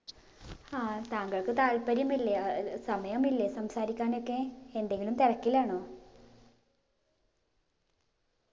ആ താങ്കൾക്ക് താല്പര്യമില്ലേ അഹ് ആഹ് സമയമില്ലേ സംസാരിക്കാനൊക്കെ എന്തെങ്കിലും തിരക്കിലാണോ